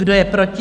Kdo je proti?